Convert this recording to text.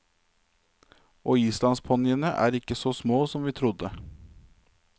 Og islandsponniene er ikke så små som vi trodde.